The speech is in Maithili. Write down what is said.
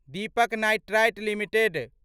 Deepak Nitrite limited